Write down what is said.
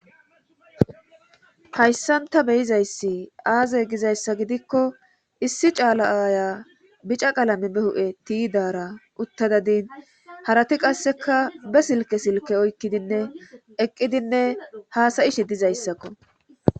Haysan ta be'izaysi aze gizaysa gidiko issi cala aya bicca qalame ba huphe tiyidara utada dawus harati qaseka be silke silke oyqidine hasayishe dizaysako